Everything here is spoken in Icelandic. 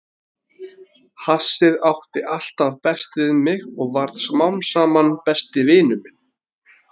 Hassið átti alltaf best við mig og varð smám saman besti vinur minn.